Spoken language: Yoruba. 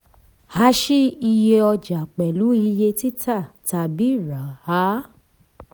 a ṣí iye ọja pẹ̀lú iye tita tàbí rà á.